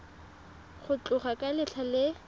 go tloga ka letlha le